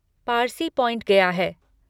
Parsi point गया है।